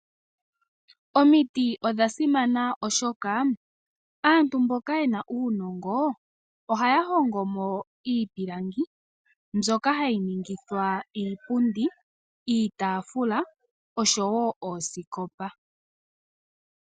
Omiti odha simana oshoka aantu mboka ye na uunongo ohaya hongo mo iipilangi mbyoka hayi ningithwa iipundi, iitaafula oshowo oosikopa.